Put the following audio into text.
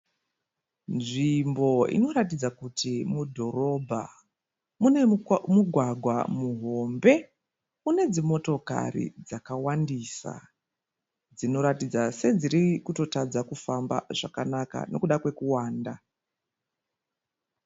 Nzvimbo inoratidza kuti mudhorobha. Mune mugwagwa muhombe une dzimotokari dzakawandisa dzinoratidza sedziri kutotadza kufamba zvakanaka nekuda kwekuwanda.